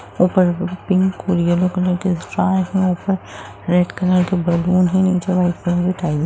ऊपर पिंक ओर yellow colour के स्टार हैं | ऊपर रेड कलर के बलून हैं | नीचे व्हाइट कलर की टाइल्स --